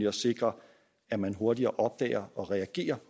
og sikre at man hurtigere opdager og reagerer